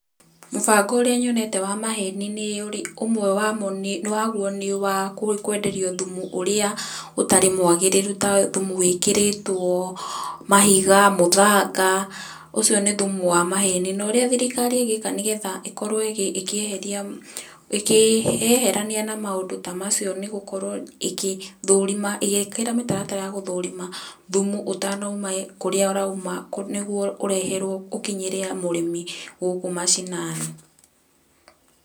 Mũbango ũrĩa nyonete wa maheni nĩ ũmwe waguo nĩ wakwenderio thumu ũrĩa utarĩ mwagĩrĩru ta thumu wĩkĩrĩtwo mahiga, mũthanga, ũcio ni thumu wa maheni. Na ũrĩa thirikari ĩngĩka nigetha ikorwo ĩkĩyeherania na maũndu ta macio nĩ gũkorwo ĩkĩ thũrima ,ĩgĩkĩra mĩtaratara ya gũthũrima thumu ũtanauma kũrĩa ũrauma, nĩguo ũreherwo ũkinyĩrio mũrĩmi gũkũ mashinani.